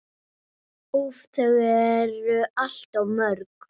Úff, þau eru alltof mörg.